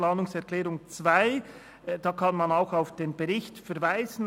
Planungserklärung 2 kann man auch auf den Bericht verweisen.